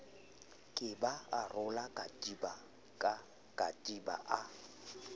kepa a rola katiba a